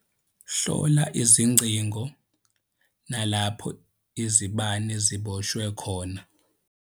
Hlola izincingo nalapho izibane ziboshwe khona.